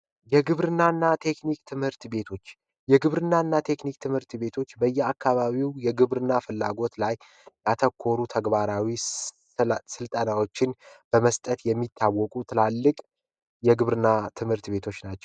የግብርናና ቴክኒክ ትምህርት ቤቶች የግብርናና ቴክኒክ ትምህርት ቤቶች በየአካባቢው የግብርና ፍላጎት ላይ አተኮሩ ተግባራዊ ስልጠናዎችን በመስጠት የሚታወቁ ትላልቅ የግብርና ትምህርት ቤቶች ናቸው።